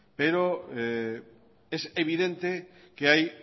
pero es evidente que hay